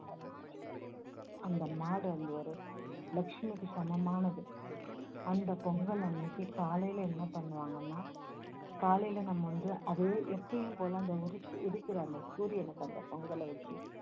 அந்த மாடு வந்து ஒரு லஷ்மிக்கு சமமானது அந்த பொங்கல் அன்னைக்கு காலையில என்ன பண்ணுவாங்கன்னா காலையில நம்ம வந்து அதே எப்போயும்போல அந்த உரி~ உதிக்கிற அந்த சூரியனுக்கு அந்த பொங்கல வச்சு